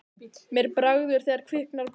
Mér bregður þegar kviknar á perunni